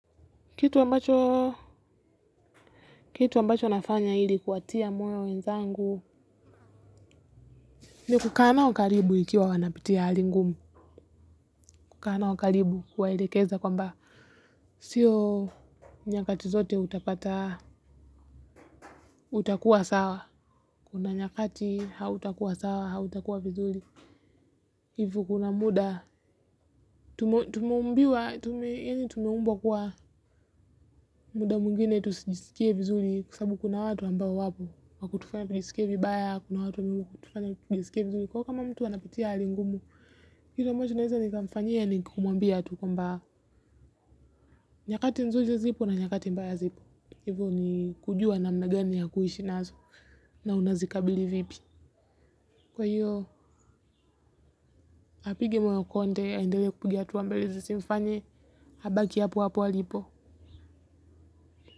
Kitu ambacho, kitu ambacho nafanya ili kuwatia moyo wenzangu ni kukaa nao karibu ikiwa wanapitia hali ngumu kukaa nao karibu kuwaelekeza kwamba sio nyakati zote utapata, utakuwa sawa kuna nyakati hautakuwa sawa, hautakuwa vizuri hivyo kuna muda, tumeumbiwa, tumeumbwa kuwa muda mwingine tusijisikie vizuri kwa sababu kuna watu ambao wapo kwa kutufanya tujisikie vibaya, kuna watu wanaotufanya tujiskie vizuri kwaivo kama mtu anapitia hali ngumu. Kitu ambacho naeza nikamfanyia ni kumuambia tu kwamba nyakati nzuri zipo na nyakati mbaya zipo. Hivo ni kujua namna gani ya kuishi nazo. Na unazikabili vipi. Kwa hiyo, apige moyo konde, aendele kupiga hatua mbele. Zisimfanye, abaki hapo hapo alipo.